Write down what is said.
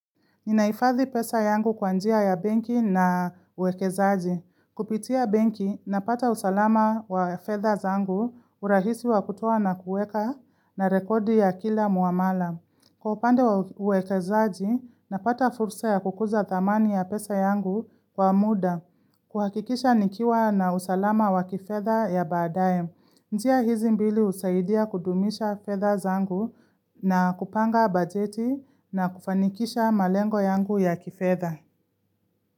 Ninahifadhi pesa yangu kwa njia ya benki na uwekezaji. Kupitia benki, napata usalama wa fedha zangu urahisi wa kutoa nakueka na rekodi ya kila muamala. Kwa upande wa uwekezaji, napata fursa ya kukuza thamani ya pesa yangu kwa muda. Kuhakikisha nikiwa na usalama wa kifedha ya baadaye. Njia hizi mbili husaidia kudumisha fedha zangu na kupanga bajeti na kufanikisha malengo yangu ya kifedha.